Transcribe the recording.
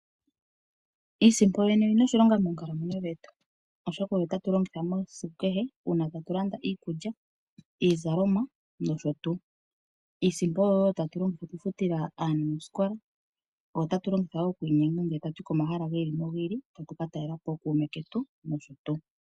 Iisimpo yoyene oyina oshilonga moonkalamwenyo dhetu, oshoka ohatu yi longitha esiku kehe mono hatu landa iikulya , iizalomwa noshotuu. Iisimpo oyo wo tatu longitha okufuta aanasikola . Oyo tatu longitha okwiinyenga komahala giili nogiili okuka talelapo ookuume ketu.